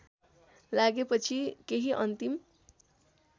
लागेपछि केही अन्तिम